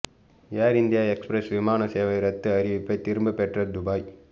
ஏர் India Express விமான சேவை ரத்து அறிவிப்பை திரும்ப பெற்ற துபாய்